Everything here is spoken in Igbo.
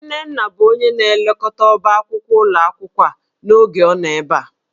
Nnenna bụ onye na-elekọta ọbá akwụkwọ ụlọ akwụkwọ a n'oge ọ nọ ebe a